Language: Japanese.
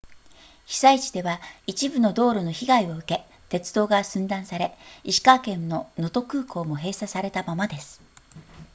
被災地では一部の道路の被害を受け鉄道が寸断され石川県の能登空港も閉鎖されたままです